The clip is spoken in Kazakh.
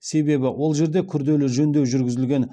себебі ол жерде күрделі жөндеу жүргізілген